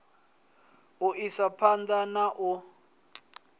u isa phanḓa na u